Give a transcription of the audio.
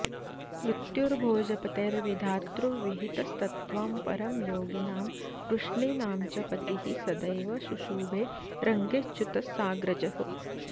मृत्युर्भोजपतेर्विधातृविहित स्तत्त्वं परं योगिनां वृष्णीनां च पतिः सदैव शुशुभे रङ्गेऽच्युतः साग्रजः